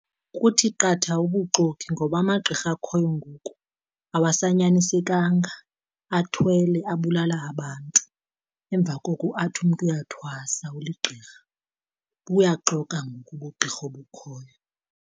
Kuthi qatha ubuxoki, ngoba amagqirha akhoyo ngoku awasanyanisenkanga athwele abulala abantu emva koko athi umntu uyathwasa uligirha. Buyaxoka ngoku ubugqirha obukhoyo.